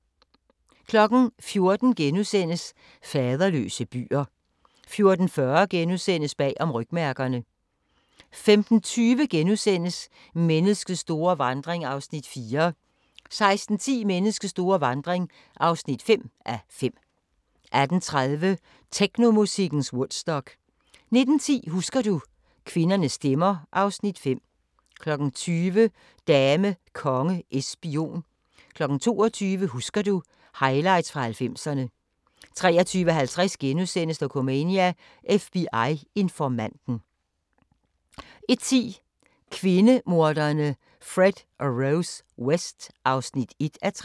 14:00: Faderløse byer * 14:40: Bag om rygmærkerne * 15:20: Menneskets store vandring (4:5)* 16:10: Menneskets store vandring (5:5) 18:30: Technomusikkens Woodstock 19:10: Husker du - kvindernes stemmer (Afs. 5) 20:00: Dame, konge, es, spion 22:00: Husker du: Highlights fra 90'erne 23:50: Dokumania: FBI-informanten * 01:10: Kvindemorderne Fred og Rose West (1:3)